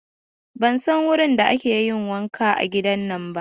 Ban san wurin da ake yin wanka a gidan ba.